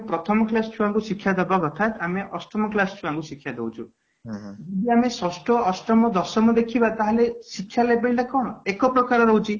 ପ୍ରଥମ class ଛୁଆ ଙ୍କୁ ଶିକ୍ଷା ଦେବା କଥା ଆମେ ଅଷ୍ଟମ class ଛୁଆ ଙ୍କୁ ଶିକ୍ଷା ଦଉଛୁ ଯଦି ଆମେ ଷଷ୍ଠ, ଅଷ୍ଟମ, ଦଶମ ଦେଖିବା ତାହେଲେ ଶିକ୍ଷା ଲେବେଲ ଟା କ'ଣ ଏକ ପ୍ରକାର ରହୁଛି